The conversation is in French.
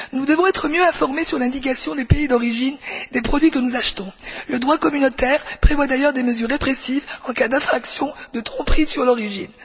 Nous devons être mieux informés sur l'indication des pays d'origine des produits que nous achetons. Le droit communautaire prévoit d'ailleurs des mesures répressives en cas d'infraction, de tromperie sur l'origine.